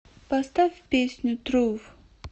поставь песню труф